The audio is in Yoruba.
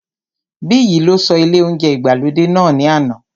Biyi lọ sí ilé óúnjẹ ìgbàlódé náà ní àná